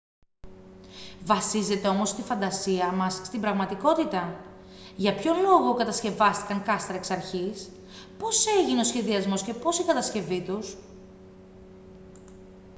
βασίζεται όμως η φαντασία μας στην πραγματικότητα για ποιον λόγο κατασκευάστηκαν κάστρα εξ αρχής πώς έγινε ο σχεδιασμός και πώς η κατασκευή τους